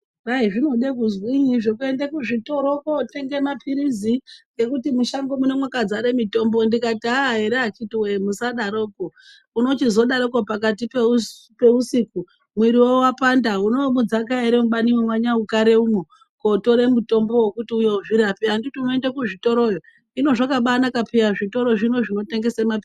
Kwayi zvinode kuzvinyi zvokuenda kuzvitoro kunotenga mapirizi, ngekuti mushango muno mwakazara mitombo ndikati ere akiti woye musadaroko uno chizodaroko pakati peusiku mwiri wo wapanda unondomudzakemwo ere mubani maNyaukaremwo knotora mutombo wekuti udzirape anditi unoende kuzvitiroyo. Inga zvakanaka zvitoro zvinotengesa mutombo.